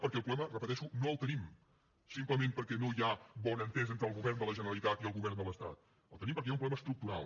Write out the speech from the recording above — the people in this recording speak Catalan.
perquè el problema ho repeteixo no el tenim simplement perquè no hi ha bona entesa entre el govern de la generalitat i el govern de l’estat el tenim perquè hi ha un problema estructural